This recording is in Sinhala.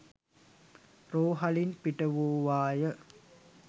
රෝහලින් පිටවූවා ය.